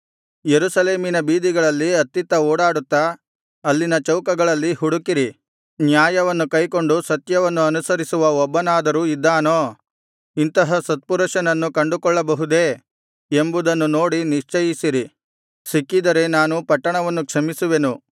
ಯೆರೂಸಲೇಮಿನ ಬೀದಿಗಳಲ್ಲಿ ಅತ್ತಿತ್ತ ಓಡಾಡುತ್ತಾ ಅಲ್ಲಿನ ಚೌಕಗಳಲ್ಲಿ ಹುಡುಕಿರಿ ನ್ಯಾಯವನ್ನು ಕೈಕೊಂಡು ಸತ್ಯವನ್ನು ಅನುಸರಿಸುವ ಒಬ್ಬನಾದರೂ ಇದ್ದಾನೋ ಇಂತಹ ಸತ್ಪುರುಷನನ್ನು ಕಂಡುಕೊಳ್ಳಬಹುದೇ ಎಂಬುದನ್ನು ನೋಡಿ ನಿಶ್ಚಯಿಸಿರಿ ಸಿಕ್ಕಿದರೆ ನಾನು ಪಟ್ಟಣವನ್ನು ಕ್ಷಮಿಸುವೆನು